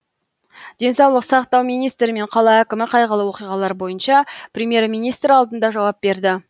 денсаулық сақтау министрі мен қала әкімі қайғылы оқиғалар бойынша премьер министр алдында жауап берді